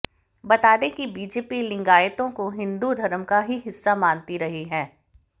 बता दें कि बीजेपी लिंगायतों को हिंदू धर्म का ही हिस्सा मानती रही है